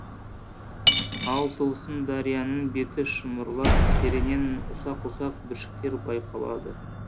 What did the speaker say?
ал тылсым дарияның беті шымырлап тереңнен ұсақ ұсақ бүршіктер байқалады